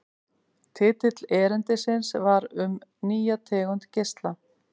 Titill erindisins var Um nýja tegund geisla.